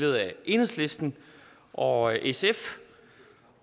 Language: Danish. af enhedslisten og sf